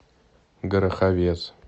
гороховец